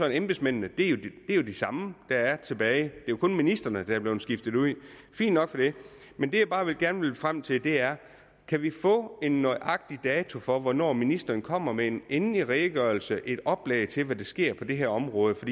at embedsmændene er de samme det er kun ministrene der er blevet skiftet ud fint nok men det jeg bare gerne vil frem til er kan vi få en nøjagtig dato for hvornår ministeren kommer med en endelig redegørelse et oplæg til hvad der sker på det her område for